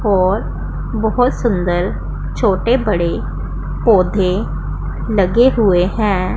और बहोत सुंदर छोटे बड़े पौधे लगे हुए हैं।